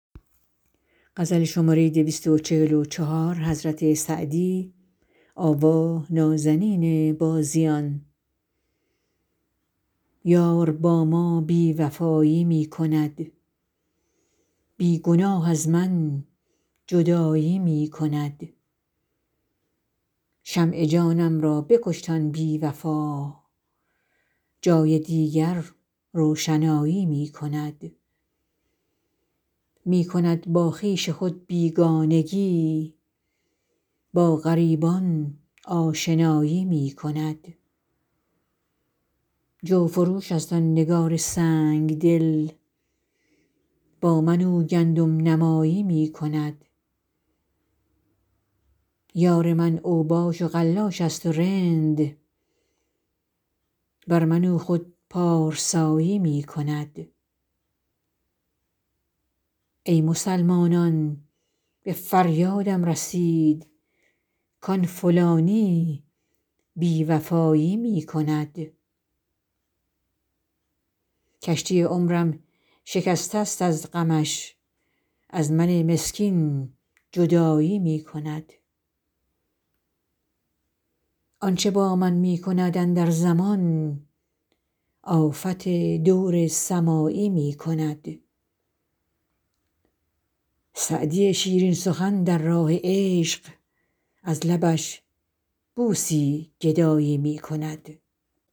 یار با ما بی وفایی می کند بی گناه از من جدایی می کند شمع جانم را بکشت آن بی وفا جای دیگر روشنایی می کند می کند با خویش خود بیگانگی با غریبان آشنایی می کند جوفروش است آن نگار سنگ دل با من او گندم نمایی می کند یار من اوباش و قلاش است و رند بر من او خود پارسایی می کند ای مسلمانان به فریادم رسید کآن فلانی بی وفایی می کند کشتی عمرم شکسته است از غمش از من مسکین جدایی می کند آن چه با من می کند اندر زمان آفت دور سمایی می کند سعدی شیرین سخن در راه عشق از لبش بوسی گدایی می کند